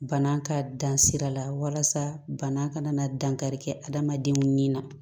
Bana ka dan sira la walasa bana kana na dankari kɛ adamadenw ni na